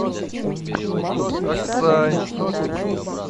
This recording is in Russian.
аксай